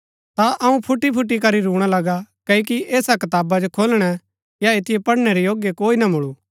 ता अऊँ फूटीफूटी करी रूणा लगा क्ओकि ऐसा कताबा जो खोलणै या ऐतिओ पढ़नै रै योग्य कोई ना मुळू